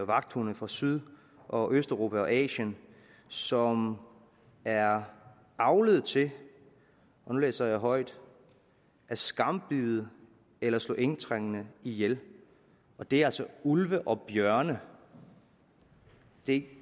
vagthunde fra syd og østeuropa og asien som er avlet til og nu læser jeg højt at skambide eller slå indtrængende ihjel det er altså ulve og bjørne det